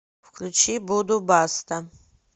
включи буду баста